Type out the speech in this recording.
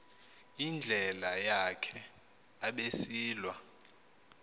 indlela yakhe abesilwa